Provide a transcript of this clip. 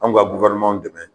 Anw ga dɛmɛ